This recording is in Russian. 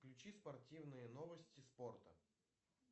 включи спортивные новости спорта